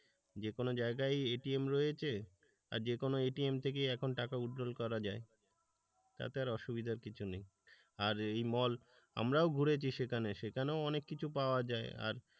যেকোনো জায়গায় এটিএম রয়েছে আর যে কোন এটিএম থেকে এখন টাকা withdrawal করা যায় তাতে আর অসুবিধার কিছু নেই আর এই মল আমরাও ঘুরেছি সেখানে সেখানেও অনেক কিছু পাওয়া যায় আর,